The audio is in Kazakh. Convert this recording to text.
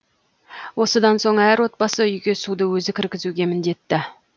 осыдан соң әр отбасы үйге суды өзі кіргізуге міндетті